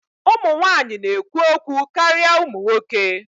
Ụmụ nwanyị na-ekwu okwu karịa ụmụ nwoke